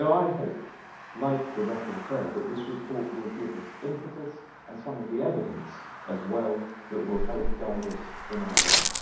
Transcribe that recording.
I hope, like the rapporteur, that this report will give us impetus and some of the evidence as well that will help guide us in our work.